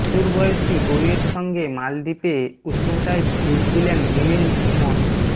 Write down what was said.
হাঁটুর বয়সী বউয়ের সঙ্গে মলদ্বীপে উষ্ণতায় ডুব দিলেন মিলিন্দ সুমন